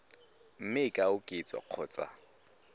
mme e ka oketswa kgotsa